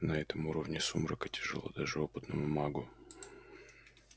на этом уровне сумрака тяжело даже опытному магу